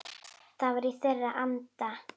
Það var í þeirra anda.